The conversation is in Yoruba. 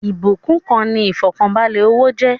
Ìbúkún kan ni ifọkanbalẹ owó jẹ́